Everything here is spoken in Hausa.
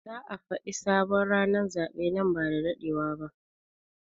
Za a Fadi sabon ranan zaben nan ba dadewa ba.